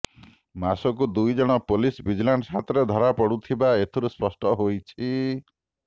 ମାସକୁ ଦୁଇ ଜଣ ପୁଲିସ ଭିଜିଲାନ୍ସ ହାତରେ ଧରାପଡ଼ୁଥିବା ଏଥିରୁ ସ୍ପଷ୍ଟ ହେଉଛି